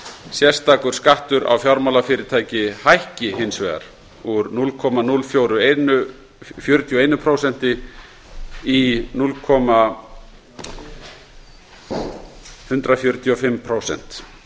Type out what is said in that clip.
sérstakur skattur á fjármálafyrirtæki hækki hins vegar úr núll komma núll fjörutíu og einu prósenti í núll komma eitt fjögur fimm prósent